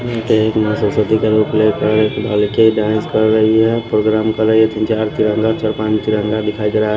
मुदे एक माँ सरस्वती का रोल प्ले कर बालिके डांस कर रहीं हैं प्रोग्राम कर रही है तीन चार तिरंगा चार पांच तिरंगा दिखाई दे रहा है।